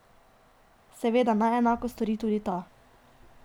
Seveda naj enako stori tudi ta.